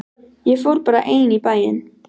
Ég fór bara ein í bæinn.